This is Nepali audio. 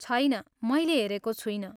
छैन, मैले हेरेको छुइनँ।